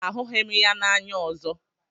Ahụghị m ya n'anya ọzọ.